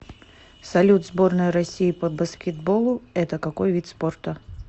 салют сборная россии по баскетболу это какой вид спорта